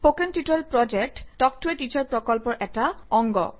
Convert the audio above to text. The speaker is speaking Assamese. কথন শিক্ষণ প্ৰকল্প তাল্ক ত a টিচাৰ প্ৰকল্পৰ এটা অংগ